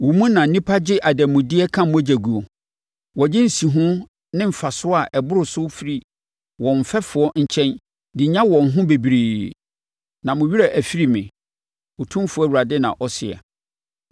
Wo mu na nnipa gye adanmudeɛ ka mogya guo; wɔgye nsihoɔ ne mfasoɔ a ɛboro so firi wɔn mfɛfoɔ nkyɛn de nya wɔn ho bebree. Na mo werɛ afiri me, Otumfoɔ Awurade na ɔseɛ.